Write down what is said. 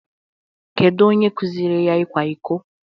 Kedu onye kuziri ya ikwa iko?